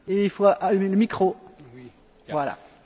Frau Präsidentin, geschätzte Kolleginnen und Kollegen!